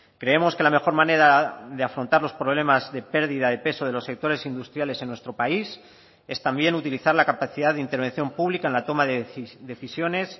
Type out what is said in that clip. creemos que la mejor manera de afrontar los problemas de pérdida de peso de los sectores industriales en nuestro país es también utilizar la capacidad de intervención pública en la toma de decisiones